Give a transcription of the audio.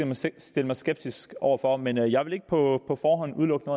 måske stille mig skeptisk over for men jeg vil ikke på forhånd udelukke